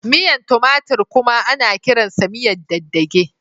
Miyan tumatir kuma ana kiransa miyan dagedage.